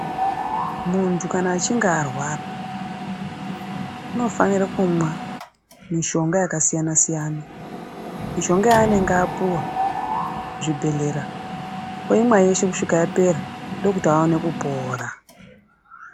Muntu kana achinge arwara, unofanira kumwa mishonga yakasiyana siyana. Mishonga yaanenge apuwa kuzvibhedhlera oimwa yeshe kusvika yapera ndokuti aone kupora.